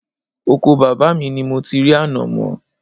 Oko bàbá mi ni mo ti rí ànàmọ́